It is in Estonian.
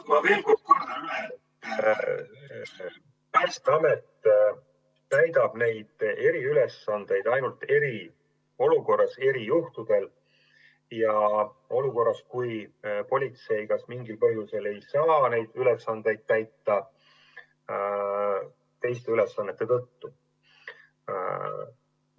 Ma veel kord ütlen, et Päästeamet täidab neid eriülesandeid ainult eriolukorras, erijuhtudel ehk siis olukorras, kus politsei mingil põhjusel ei saa neid ülesandeid teiste ülesannete tõttu täita.